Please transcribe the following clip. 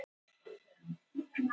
Þúsundir skora á forsetann